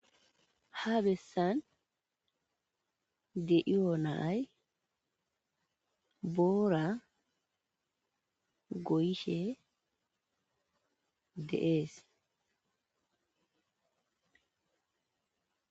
ha bessan de7iyoonay boora goyishe de'es